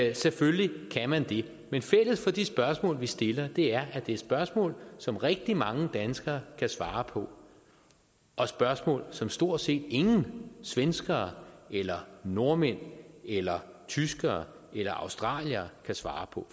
jo selvfølgelig kan man det men fælles for de spørgsmål vi stiller er at det er spørgsmål som rigtig mange danskere kan svare på og spørgsmål som stort set ingen svenskere eller nordmænd eller tyskere eller australiere kan svare på